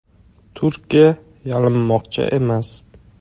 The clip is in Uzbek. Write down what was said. Turkiya yalinmoqchi emas.